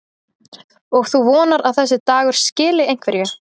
Og þú vonar að þessi dagur skili einhverju?